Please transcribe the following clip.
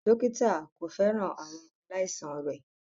Dókítà kò fẹ́ràn àwọn aláìsàn rẹ̀